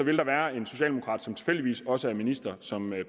vil der være en socialdemokrat som tilfældigvis også er ministeren som